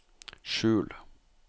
skjul